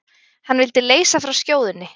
Hann vildi leysa frá skjóðunni.